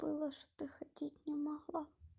думаешь что ты ходить не могла